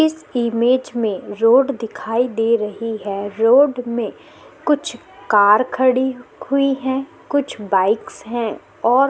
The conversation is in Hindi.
इस इमेज में रोड दिखाई दे रही है रोड में कुछ कार खड़ी हुई है कुछ बाइक्स है और--